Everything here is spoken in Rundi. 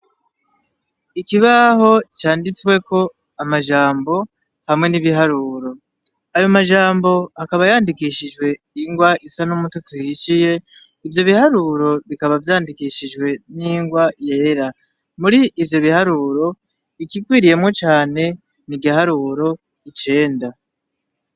Ikibaho canditsweko amajambo hamwe n'ibiharuro, ayo majambo akaba yandikishijwe ingwa isa n'umutoto uhishiye ivyo biharuro bikaba vyandikishijwe ingwa yera, muri ivyo biharuro ikigwiriyemwo cane n'igiharuro icenda.